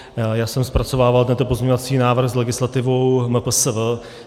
Já jsem zpracovával tento pozměňovací návrh s legislativou MPSV.